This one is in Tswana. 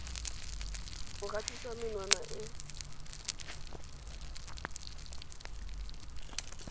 go gatisa menwana e e